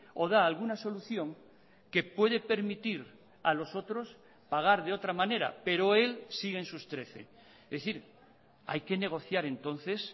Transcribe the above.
o da alguna solución que puede permitir a los otros pagar de otra manera pero él sigue en sus trece es decir hay que negociar entonces